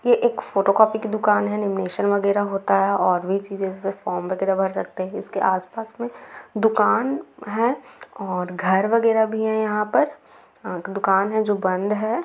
ये एक photo copy की दुकान है लेमिनेशन वगेरा होता है और भी चीजे जैसे फॉर्म वगेरा भर सकते है इसके आसपास मे दुकान है और घर वगेरा भी है यहाँ पर है अ दुकान है जो बंद है।